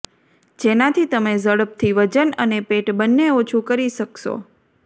જેનાથી તમે ઝડપથી વજન અને પેટ બંને ઓછું કરી શકશો